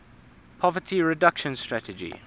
poverty reduction strategy